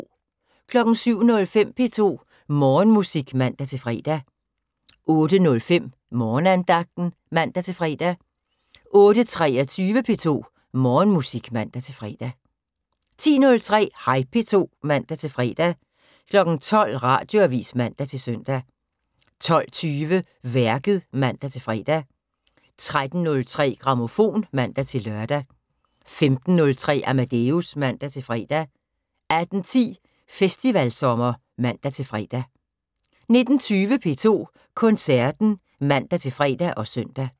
07:05: P2 Morgenmusik (man-fre) 08:05: Morgenandagten (man-fre) 08:23: P2 Morgenmusik (man-fre) 10:03: Hej P2 (man-fre) 12:00: Radioavis (man-søn) 12:20: Værket (man-fre) 13:03: Grammofon (man-lør) 15:03: Amadeus (man-fre) 18:10: Festivalsommer (man-fre) 19:20: P2 Koncerten (man-fre og søn)